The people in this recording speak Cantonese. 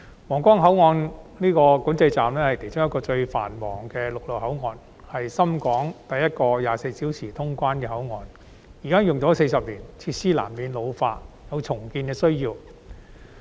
皇崗口岸管制站是其中一個最繁忙的陸路口岸，是深港第一個24小時通關的口岸，已經使用40年，設施難免老化，有重建的需要。